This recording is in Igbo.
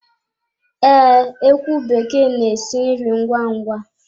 Ee, ekwu bekee n'esi nri ngwá ngwá